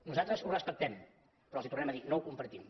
nosaltres ho respectem però els ho tornem a dir no ho compartim